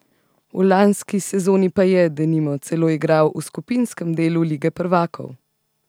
V lanski sezoni pa je, denimo, celo igral v skupinskem delu lige prvakov!